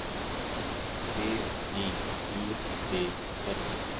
B J U D S